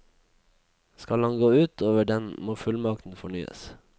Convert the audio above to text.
Skal han gå ut over den må fullmakten fornyes.